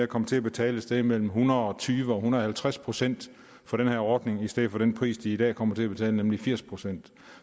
komme til at betale et sted mellem en hundrede og tyve og en hundrede og halvtreds procent for den her ordning i stedet for den pris de i dag kommer til at betale nemlig firs procent